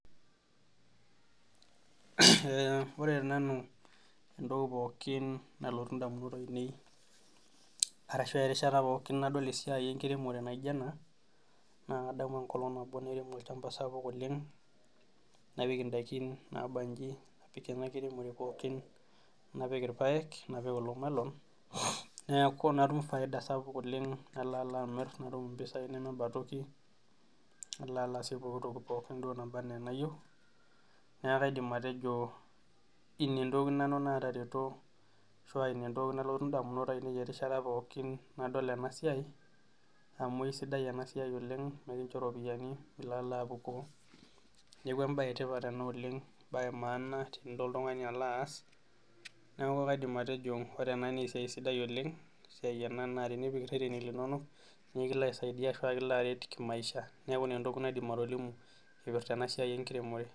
Ore tenanu entoki pookin nalotu ndamunot aine ,arashu erishata pookin nadol esiai enkiremore naijo ena, naa kadamu enkolong nabo nairemo olchampa sapuk oleng napik ndaikin naabanji napik ndaikin pookin, napik irpaek napik kulo melon ,neeku natum faida sapuk oleng, nalo alo amir natum pisai nemeba toki ,nalo aasie pooki toki duo nana enaa enayieu ,neeku kaidim nanu atejio ina entoki nalotu ndamunot ainei erishata pookin nadol ena siai ,amu eisidai ena siai oleng ekincho ropiyiani milo alo apukoo ,neeku embae etipat ena oleng ,embae emaana tenilo oltungani alo aas neeku kaidim atejo ore ena naa esiai sidai oleng esiai sidai tenipik ireteni linonok nikilo aisaidia pee kilo aret te maisha neeku ina entoki naaidim atolimu eipirta ena siai enkiremore.